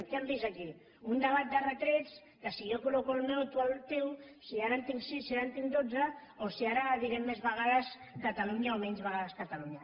què han vist aquí un debat de retrets de si jo col·loco el meu o tu el teu si ara en tinc sis si ara en tinc dotze o si ara diré més vegades catalunya o menys vegades catalunya